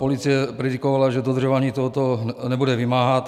Policie predikovala, že dodržování tohoto nebude vymáhat.